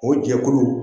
O jɛkulu